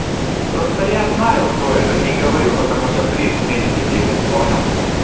просто я знаю кто это не говорю потому что приз вместе делим понял